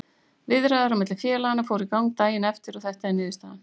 Viðræður á milli félaganna fóru í gang daginn eftir og þetta er niðurstaðan,